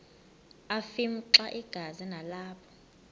afimxa igazi nalapho